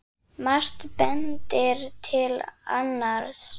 Margt bendir til annars.